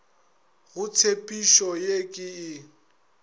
go tshepišo ye ke e